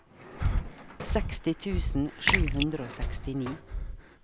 seksti tusen sju hundre og sekstini